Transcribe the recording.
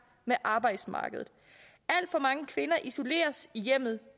med arbejdsmarkedet alt for mange kvinder isoleres i hjemmet